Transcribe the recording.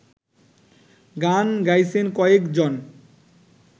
গান গাইছেন কয়েকজন